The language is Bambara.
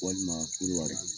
Walima Konowari